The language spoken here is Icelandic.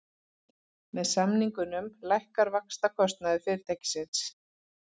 Með samningunum lækkar vaxtakostnaður fyrirtækisins